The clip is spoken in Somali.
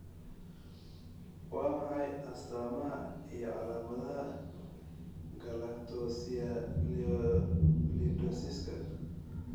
Waa maxay astamaha iyo calaamadaha Galactosialidosiska?